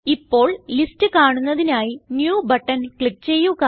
ഇപ്പോൾ ലിസ്റ്റ് കാണുന്നതിനായി new button click ചെയ്യുക